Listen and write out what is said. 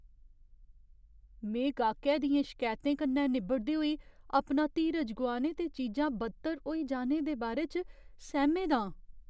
में गाह्‌कै दियें शकैतें कन्नै निब्बड़दे होई अपना धीरज गुआने ते चीजां बद्तर होई जाने दे बारे च सैह्मे दा आं।